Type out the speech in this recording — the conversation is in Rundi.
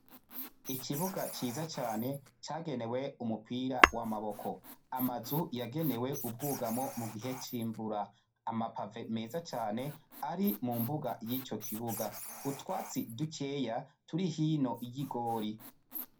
Ikibuga ciza cane cagenewe umupira w'amaboko, amazu yagenewe ubwugamo mu gihe c'imvura. Ama pave meza cane ari mu mbuga y'ico kibuga, utwatsi dukeyi turi hino y'igori.